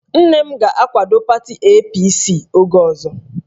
Nne m ga-akwado pati APC oge ọzọ